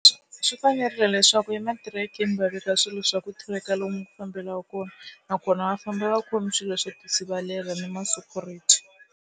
Swi fanerile leswaku ematirekeni va veka swilo swa ku tracker lomu ku fambelaka kona nakona va famba va khome swilo swo tisivelela na ma-security.